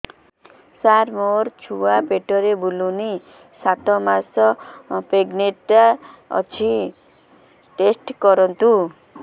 ସାର ମୋର ଛୁଆ ପେଟରେ ବୁଲୁନି ସାତ ମାସ ପ୍ରେଗନାଂଟ ଅଛି ଟେଷ୍ଟ କରନ୍ତୁ